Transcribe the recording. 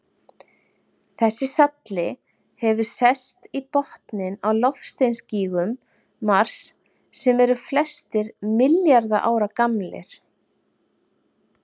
Þessi salli hefur sest í botninn á loftsteinagígum Mars sem eru flestir milljarða ára gamlir.